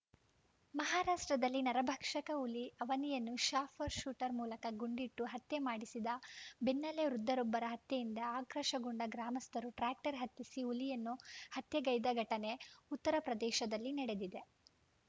ಮಹಾರಾಷ್ಟ್ರದಲ್ಲಿ ನರಭಕ್ಷಕ ಹುಲಿ ಅವನಿಯನ್ನು ಶಾಫರ್ ಶೂಟರ್‌ ಮೂಲಕ ಗುಂಡಿಟ್ಟು ಹತ್ಯೆ ಮಾಡಿಸಿದ ಬೆನ್ನಲ್ಲೇ ವೃದ್ಧರೊಬ್ಬರ ಹತ್ಯೆಯಿಂದ ಆಕ್ರೋಶಗೊಂಡ ಗ್ರಾಮಸ್ಥರು ಟ್ರ್ಯಾಕ್ಟರ್‌ ಹತ್ತಿಸಿ ಹುಲಿಯನ್ನು ಹತ್ಯೆಗೈದ ಘಟನೆ ಉತ್ತರಪ್ರದೇಶದಲ್ಲಿ ನಡೆದಿದೆ